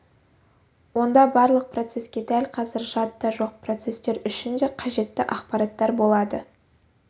онда барлық процеске дәл қазір жадыда жоқ процестер үшін де қажетті ақпараттар болады